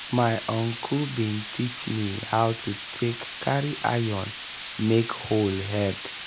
my uncle bin teach me how to take carry iron make hoe head.